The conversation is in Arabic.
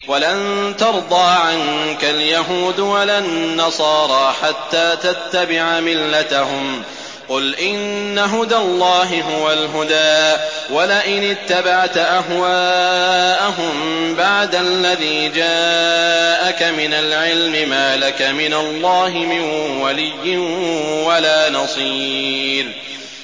وَلَن تَرْضَىٰ عَنكَ الْيَهُودُ وَلَا النَّصَارَىٰ حَتَّىٰ تَتَّبِعَ مِلَّتَهُمْ ۗ قُلْ إِنَّ هُدَى اللَّهِ هُوَ الْهُدَىٰ ۗ وَلَئِنِ اتَّبَعْتَ أَهْوَاءَهُم بَعْدَ الَّذِي جَاءَكَ مِنَ الْعِلْمِ ۙ مَا لَكَ مِنَ اللَّهِ مِن وَلِيٍّ وَلَا نَصِيرٍ